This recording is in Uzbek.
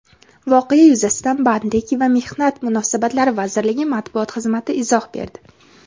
Voqea yuzasidan Bandlik va mehnat munosabatlari vazirligi matbuot xizmati izoh berdi.